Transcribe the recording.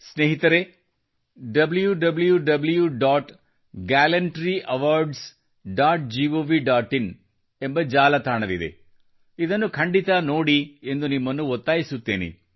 ಸ್ನೇಹಿತರೆ ಎಂಬ ಜಾಲತಾಣವಿದೆ ಇದನ್ನು ಖಂಡಿತ ನೋಡಿರಿ ಎಂದು ನಿಮ್ಮನ್ನು ಒತ್ತಾಯಿಸುತ್ತೇನೆ